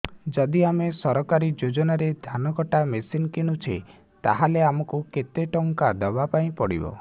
ଯଦି ଆମେ ସରକାରୀ ଯୋଜନାରେ ଧାନ କଟା ମେସିନ୍ କିଣୁଛେ ତାହାଲେ ଆମକୁ କେତେ ଟଙ୍କା ଦବାପାଇଁ ପଡିବ